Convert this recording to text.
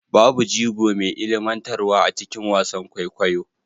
Babu jigo mai ilmantarwa a cikin wasan kwaikwayo